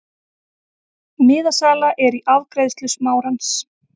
Miðasala er í afgreiðslu Smárans.